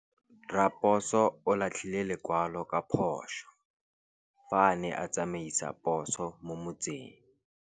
Raposo o latlhie lekwalô ka phosô fa a ne a tsamaisa poso mo motseng.